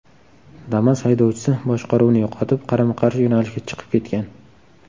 Damas haydovchisi boshqaruvni yo‘qotib, qarama-qarshi yo‘nalishga chiqib ketgan.